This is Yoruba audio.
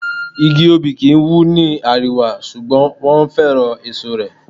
Igi Obì kì ń wù ní àríwá, ṣùgbọ́n wọn féràn èso rẹ̀.